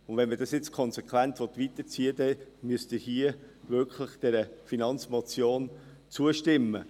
Wenn man dies nun konsequent weiterziehen will, dann müssen Sie dieser Finanzmotion hier wirklich zustimmen.